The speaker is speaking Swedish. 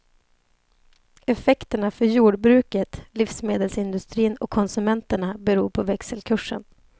Effekterna för jordbruket, livsmedelsindustrin och konsumenterna beror på växelkursen.